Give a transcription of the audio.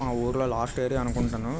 ఆ ఊర్లో last area అనుకుంటాను.